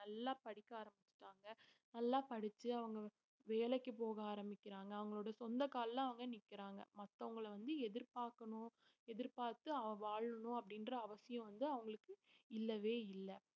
நல்லா படிக்க ஆரம்பிச்சுட்டாங்க நல்லா படிச்சு அவங்க வேலைக்கு போக ஆரம்பிக்கிறாங்க அவங்களோட சொந்த கால்ல அவங்க நிக்கிறாங்க மத்தவங்கள வந்து எதிர்பார்க்கணும் எதிர்பார்த்து அவ வாழணும் அப்படின்ற அவசியம் வந்து அவங்களுக்கு இல்லவே இல்லை